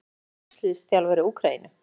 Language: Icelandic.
Hvað heitir landsliðsþjálfari Úkraínu?